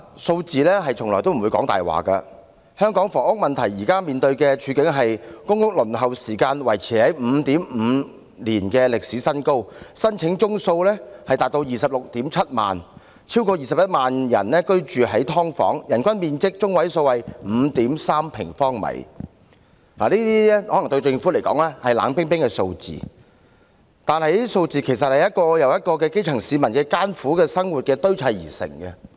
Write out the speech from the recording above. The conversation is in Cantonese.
數字從來不會說謊，香港房屋問題現時面對的處境是：公屋輪候時間維持在 5.5 年的歷史高位，申請宗數達 267000， 超過 210,000 人居於"劏房"，人均居住面積中位數為 5.3 平方米。對政府來說，這些可能是冷冰冰的數字，但它們其實是由一個又一個基層市民的艱苦生活堆砌而成。